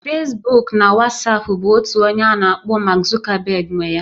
Fesbuk na Wasapu bụ otu onye a na-akpọ Mark Zuckerberg nwe ya